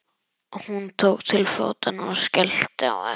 Hún tók til fótanna og skellti á eftir sér.